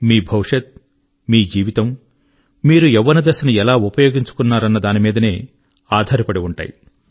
మీ భవిష్యత్ మీ జీవితము మీరు యవ్వన దశను ఎలా ఉపయోగించుకున్నారన్న దాని మీదనే ఆధారపడి ఉంటాయి